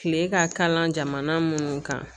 Kile ka kalan jamana munnu kan